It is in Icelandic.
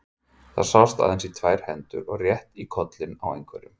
Það sást aðeins í tvær hendur og rétt í kollinn á einhverjum.